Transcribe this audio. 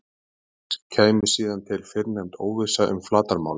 auk þess kæmi síðan til fyrrnefnd óvissa um flatarmálið